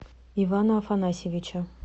ивана афанасьевича